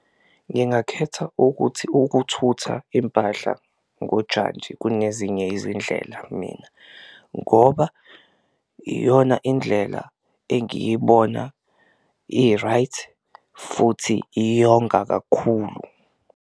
Ngingakhetha ukuthi ukuthutha impahla ngojantshi kunezinye izindlela mina ngoba iyona indlela engiyibona i-right futhi iyonga kakhulu.